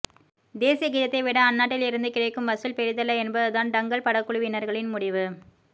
தேசிய கீதத்தை விட அந்நாட்டில் இருந்து கிடைக்கும் வசூல் பெரிதல்ல என்பதுதான் டங்கல் படக்குழுவினர்களின் முடிவு